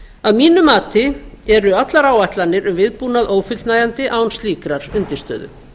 að mínu mati eru allar áætlanir um viðbúnað ófullnægjandi án slíkrar undirstöðu